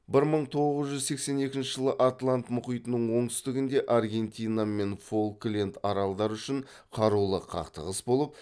бір мың тоғыз жүз сексен екінші жылы атлант мұхитының оңтүстігінде аргентина мен фолкленд аралдары үшін қарулы қақтығыс болып